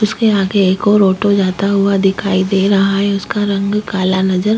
इसके आगे एक और ऑटो जाता हुआ दिखाई दे रहा है उसका रंग काला नजर --